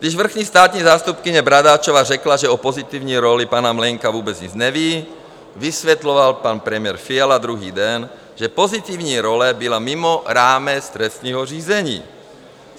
Když vrchní státní zástupkyně Bradáčová řekla, že o pozitivní roli pana Mlejnka vůbec nic neví, vysvětloval pan premiér Fiala druhý den, že pozitivní role byla mimo rámec trestního řízení.